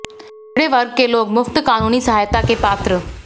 पिछड़े वर्ग के लोग मुफ्त कानूनी सहायता के पात्र